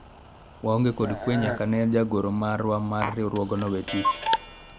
waonge kod kwe nyaka ne jagoro marwa mar riwruogno wee tich